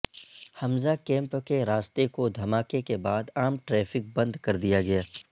حمزہ camp کے راستے کو دھماکے کے بعد عام ٹریفک بند کر دیا گیا ہے